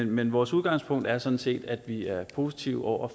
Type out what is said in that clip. men vores udgangspunkt er sådan set at vi er positive over